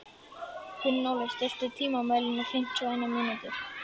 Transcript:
Gunnóli, stilltu tímamælinn á fimmtíu og eina mínútur.